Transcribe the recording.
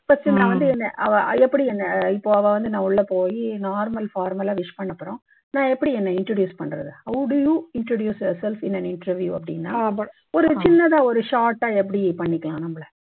first நான் வந்து என்னை அவ எப்படி என்னை இப்போ அவ வந்து நான் உள்ளே போயி normal formal ஆ wish பண்ண அப்புறம் நான் எப்படி என்னை introduce பண்றது how do you introduce your self in an interview அப்படின்னா சின்னதா ஒரு short ஆ எப்படி பண்ணிக்கலாம் நம்மளை